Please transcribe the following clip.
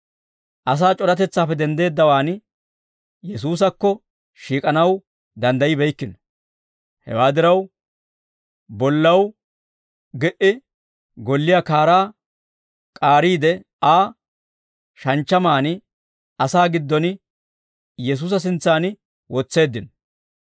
Asaa c'oratetsaappe denddeeddawaan Yesuusakko shiik'anaw danddayibeykkino. Hewaa diraw bollaw gi"i golliyaa kaaraa k'aariide Aa, shanchchamaanna asaa giddon Yesuusa sintsaan wotseeddino.